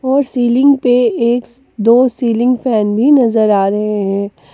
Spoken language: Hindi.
वो सीलिंग पे एक दो सीलिंग फैन भी नजर आ रहे हैं।